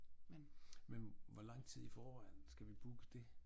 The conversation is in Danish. Men hvor lang tid i foran skal vi booke det?